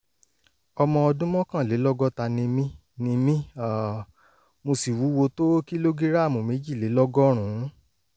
ọmọ ọdún mọ́kànlélọ́gọ́ta ni mí ni mí um mo sì wúwo tó kìlógíráàmù méjìlélọ́gọ́rùn-ún